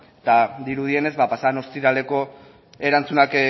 eta dirudienez pasa den ostiraleko erantzunak